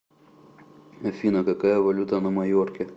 афина какая валюта на майорке